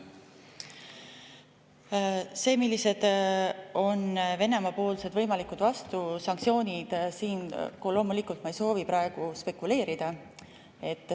Selle üle, millised on Venemaa võimalikud vastusanktsioonid, ma siin loomulikult ei soovi praegu spekuleerida.